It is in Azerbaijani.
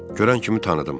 Görən kimi tanıdım.